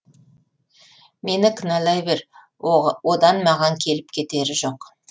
мені кінәлай бер одан маған келіп кетері жоқ